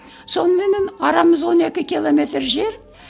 соныменен арамыз он екі километр жер